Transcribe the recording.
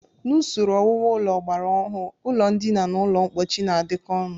N'usoro owuwu ụlọ ọgbara ọhụụ, ụlọndina na ụlọmkpochi na-adịkọ ọnụ